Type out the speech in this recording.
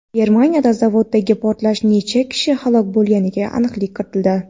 Germaniyada zavoddagi portlashda necha kishi halok bo‘lganiga aniqlik kiritildi.